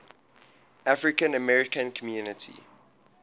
african american community